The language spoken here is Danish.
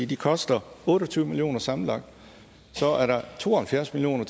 de koster otte og tyve million kroner sammenlagt så er der to og halvfjerds million